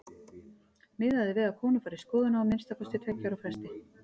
Miðað er við að konur fari í skoðun á að minnsta kosti tveggja ára fresti.